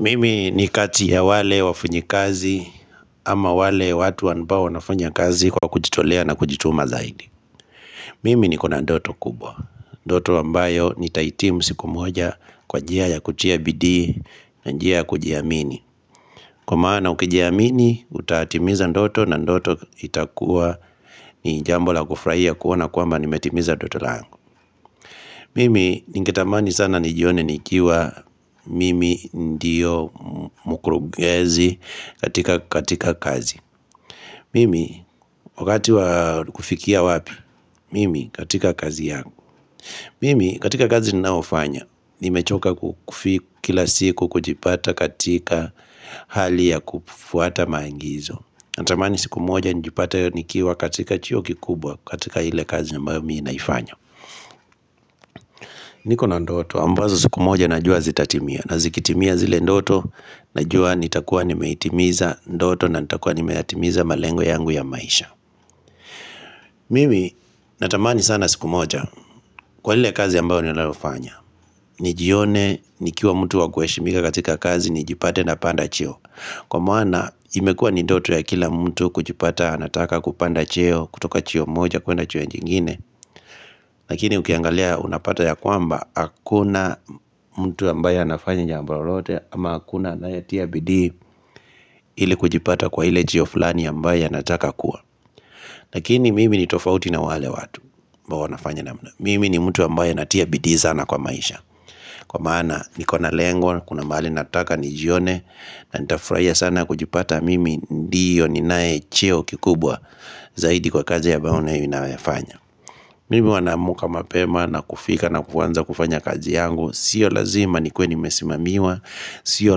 Mimi ni kati ya wale wafanyikazi ama wale watu ambao wanafanya kazi kwa kujitolea na kujituma zaidi Mimi niko na ndoto kubwa, ndoto ambayo nitahitimu siku moja kwa njia ya kutia bidii na njia ya kujiamini. Kwa maana ukijiamini utatimiza ndoto na ndoto itakuwa ni jambo la kufurahia kuona kwamba nimetimiza ndoto langu. Mimi ningetamani sana nijione nikiwa mimi ndiyo mkurugenzi katika kazi Mimi wakati wa kufikia wapi, mimi katika kazi yangu Mimi katika kazi ninaofanya, nimechoka, kila siku kujipata katika hali ya kufwata maagizo. Natamani siku moja nijipate nikiwa katika cheo kikubwa katika ile kazi ambayo mimi naifanya niko na ndoto ambazo siku moja najua zitatimia na zikitimia zile ndoto najua nitakuwa nimeitimiza ndoto na nitakuwa nimeyatimiza malengo yangu ya maisha. Mimi natamani sana siku moja, kwa lile kazi ambao ninalofanya, nijione nikiwa mtu wa kuheshimika katika kazi nijipate napanda cheo. Kwa maana imekuwa ni ndoto ya kila mtu kujipata anataka kupanda cheo kutoka cheo moja kuenda cheo nyingine Lakini ukiangalia unapata ya kwamba hakuna mtu ambaye anafanya jambo lolote ama hakuna anayetia bidii Ili kujipata kwa ile cheo fulani ambaye anataka kuwa. Lakini mimi ni tofauti na wale watu ambao wanafanya namna. Mimi ni mtu ambaye anatia bidii sana kwa maisha kwa maana niko na lengo. Kuna mahali nataka nijione na nitafurahia sana kujipata mimi ndiyo ninae cheo kikubwa Zaidi kwa kazi ya ambayo ninayofanya. Mimi huwa naamka mapema na kufika na kuanza kufanya kazi yangu. Sio lazima nikuwe nimesimamiwa Sio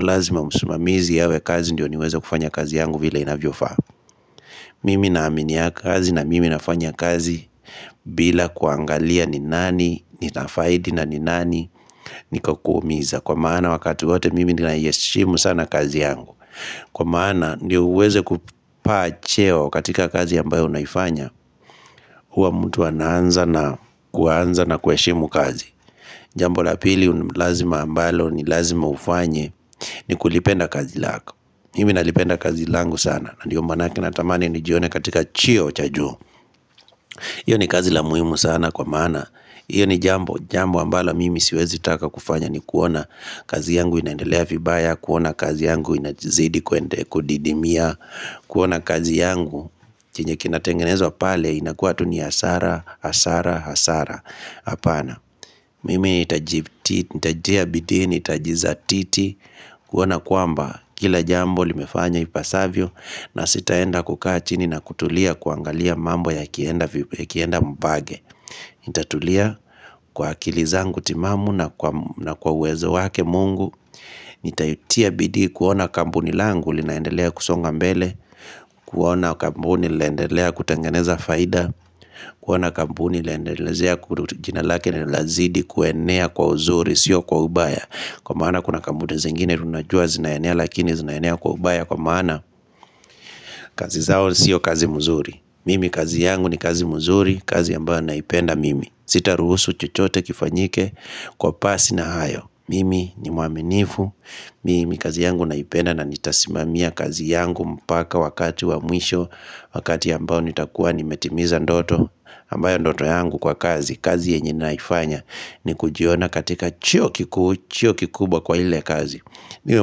lazima msimamizi awe kazi ndiyo niweza kufanya kazi yangu vile inavyofaa Mimi naaminia kazi na mimi nafanya kazi bila kuangalia ni nani ninafaidi na ni nani Nikakuumiza. Kwa maana wakati wote mimi ninaiheshimu sana kazi yangu. Kwa maana ndio uweze kupaa cheo katika kazi ambayo unaifanya, huwa mtu anaanza na kuanza na kuheshimu kazi. Jambo la pili lazima ambalo ni lazima ufanye ni kulipenda kazi lako. Mimi nalipenda kazi langu sana na ndio manake natamani nijione katika cheo cha juu. Hiyo ni kazi la muhimu sana kwa maana hiyo ni jambo, jambo ambalo mimi siwezi taka kufanya ni kuona kazi yangu inaendelea vibaya, kuona kazi yangu inazidi kuende, kudidimia kuona kazi yangu, chenye kinatengenezwa pale inakuwa tu ni hasara, hasara, hasara hapana, mimi nitatia bidii, nitajizatiti kuona kwamba kila jambo limefanya ipasavyo. Na sitaenda kukaa chini na kutulia kuangalia mambo yakienda mbage. Nitatulia kwa akili zangu timamu na kwa uwezo wake Mungu Nitaitia bidii kuona kampuni langu linaendelea kusonga mbele. Kuona kampuni linaendelea kutengeneza faida kuona kampuni laendelezea jina lake linazidi kuenea kwa uzuri, sio kwa ubaya. Kwa maana kuna kampuni zengine tunajua zinaenea lakini zinaenea kwa ubaya kwa maana kazi zao sio kazi mzuri. Mimi kazi yangu ni kazi mzuri kazi ambayo naipenda mimi. Sitaruhusu chochote kifanyike. Kwa pasi na hayo mimi ni mwaminifu Mimi kazi yangu naipenda na nitasimamia kazi yangu mpaka wakati wa mwisho Wakati ambao nitakuwa nimetimiza ndoto ambayo ndoto yangu kwa kazi, kazi yenye naifanya ni kujiona katika cheo kikuu, cheo kikubwa kwa ile kazi. Niwe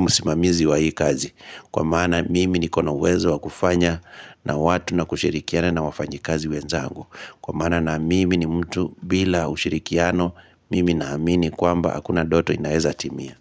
msimamizi wa hii kazi kwa maana mimi niko na uwezo wa kufanya na watu na kushirikiana na wafanyikazi wenzangu. Kwa maana na mimi ni mtu bila ushirikiano mimi naamini kwamba hakuna ndoto inaeza timia.